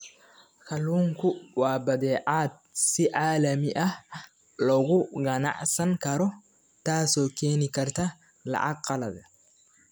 Kalluunku waa badeecad si caalami ah looga ganacsan karo, taasoo keeni karta lacag qalaad.